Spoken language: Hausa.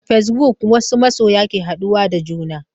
A fasebuk wasu masoya ke haɗuwa da juna.